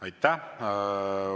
Aitäh!